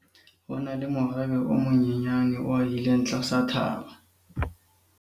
ho na le morabe o monyenyane o ahileng tlasa thaba